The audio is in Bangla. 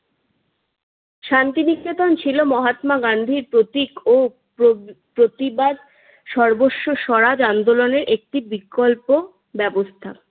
শান্তিনিকেতন ছিল মহাত্মা গান্ধীর প্রতীক ও প্র প্রতিবাদ স্বর্বস্ব সরাজ আন্দোলনের একটি বিকল্প ব্যবস্থা।